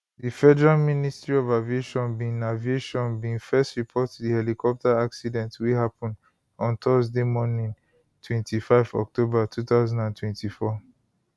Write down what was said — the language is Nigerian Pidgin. di federal ministry of aviation bin aviation bin first report di helicopter accident wey happun on thursday morning 25 october 2024